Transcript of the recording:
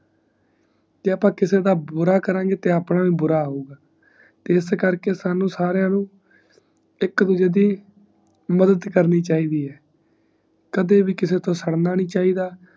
ਜੇ ਅੱਪਾ ਕਿਸੇ ਦਾ ਬੁਰਾ ਕਰਾਂਗੇ ਤੇ ਆਪਣਾ ਬ ਬੁਰਾ ਹੋਊਂਗਾ ਐੱਸ ਕਰਕੇ ਸਾਨੂ ਸਾਰਿਆਂ ਨੂੰ ਇਕ ਦੂਜੇ ਦੀ ਮਦਦ ਕਰਨੀ ਚਾਹੀਦੀ ਹੈ ਕਦੇ ਵੀ ਕਿਸੇ ਤੋਂ ਸਾੜਨਾ ਨੀ ਚਾਹੀਦਾ